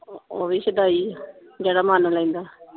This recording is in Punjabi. ਉਹ ਵੀ ਸ਼ਦਾਈ ਏ ਜਿਹੜਾ ਮਨ ਲੈਂਦਾ।